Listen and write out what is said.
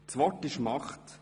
Das Wort ist Macht.